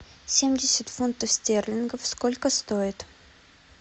семьдесят фунтов стерлингов сколько стоят